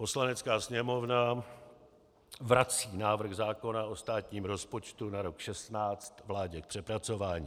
Poslanecká sněmovna vrací návrh zákona o státním rozpočtu na rok 2016 vládě k přepracování.